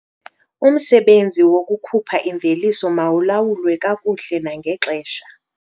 Umsebenzi wokukhupha imveliso mawulawulwe kakuhle nangexesha.